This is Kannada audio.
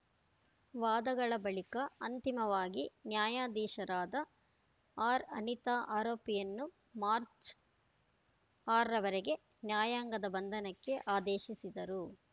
ವಾದಗಳ ಬಳಿಕ ಅಂತಿಮವಾಗಿ ನ್ಯಾಯಾಧೀಶರಾದ ಆರ್‌ಅನಿತಾ ಆರೋಪಿಯನ್ನು ಮಾರ್ಚ್ ಆರರವರೆಗೆ ನ್ಯಾಯಾಂಗದ ಬಂಧನಕ್ಕೆ ಆದೇಶಿಸಿದರು